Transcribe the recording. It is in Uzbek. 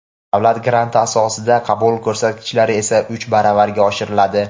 davlat granti asosida qabul ko‘rsatkichlari esa uch baravarga oshiriladi.